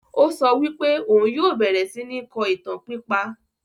O so wí pé òhun yìí ó bẹ̀rẹ̀ síí ni kọ́ ìtàn pípa